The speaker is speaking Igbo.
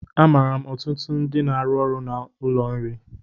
Amaara ọtụtụ ndị n'arụ n'ụlọ nri